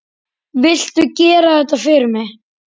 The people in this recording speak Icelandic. Viltu gera þetta fyrir mig!